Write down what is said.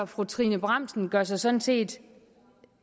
fru trine bramsen gør sig sådan set